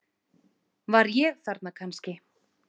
Var ég þarna kannski?